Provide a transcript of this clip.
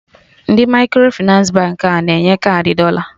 Ndị Microfịnans Baankị a na-enye kaadị dọla?